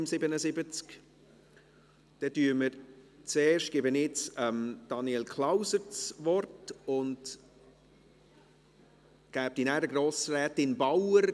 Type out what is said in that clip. Dann gebe ich zuerst Daniel Klauser das Wort und danach Grossrätin Bauer.